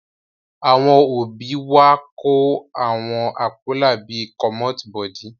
Àwọn òbí wa kò lo àwọn àpólà bí i "commot body"